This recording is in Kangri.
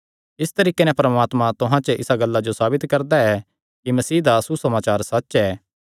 इसी तरीके नैं परमात्मा तुहां च इसा गल्ला जो साबित करदा ऐ कि मसीह दा सुसमाचार सच्च ऐ